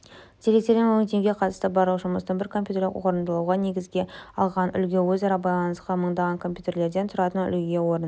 деректерді өңдеуге қатысты барлық жұмыстың бір компьютерде орындалуын негізге алған үлгі өзара байланысқан мыңдаған компьютерлерден тұратын үлгіге орын